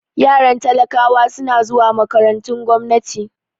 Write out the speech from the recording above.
Yaran talakawa suna zuwa makarantun gwamnati